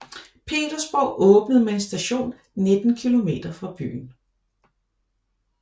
Petersborg åbnet med en station 19 km fra byen